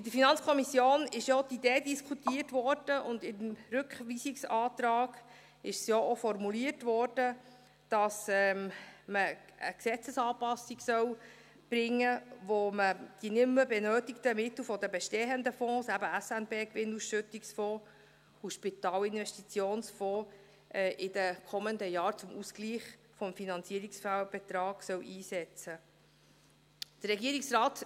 In der FiKo wurde ja auch die Idee diskutiert, und im Rückweisungsantrag wurde es ja auch formuliert, dass man eine Gesetzesanpassung bringen soll, mit der man die nicht mehr benötigten Mittel der bestehenden Fonds, eben SNBAusschüttungsfonds und SIF, in den kommenden Jahren zum Ausgleich des Finanzierungsfehlbetrags einsetzen soll.